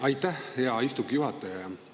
Aitäh, hea istungi juhataja!